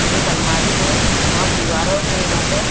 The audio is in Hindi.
एक अलमारी है और दीवारों पे यहाँ पे --